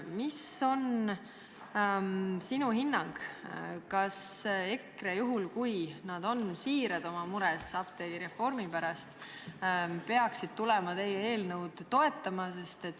Milline on sinu hinnang: kas EKRE on siiras oma mures apteegireformi pärast ja toetab teie eelnõu?